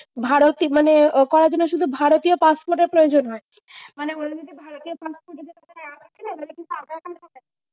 ভারতী মানে করাদিনে সুধু ভারতীয় passport এর প্রয়োজন হয়। মানে